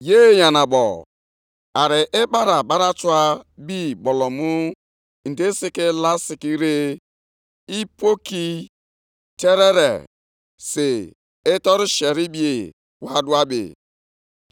Onyenwe anyị, ruo ole mgbe ka m ga-anọgide na-eti mkpu ma ị dịghị ege ntị? Ruo ole mgbe ka m ga na-etiku gị na-asị, “Ihe ike, ihe ike!” ma ị dịghị azọpụta?